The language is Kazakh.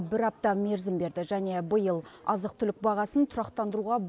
бір апта мерзім берді және биыл азық түлік бағасын тұрақтандыруға